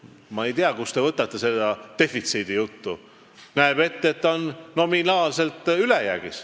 Ma ei tea, kust te võtate selle defitsiidijutu.